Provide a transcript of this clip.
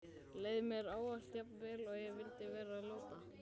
Leið mér ávallt jafn vel og ég vildi vera láta?